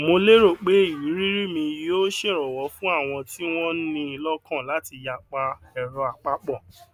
mo lérò pé ìrírí mi yóò ṣèrànwọ fún àwọn tí wọn ni lọkàn láti yapa ẹrọàpapọ